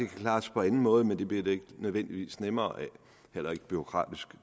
klares på anden måde men det bliver det ikke nødvendigvis nemmere af heller ikke bureaukratisk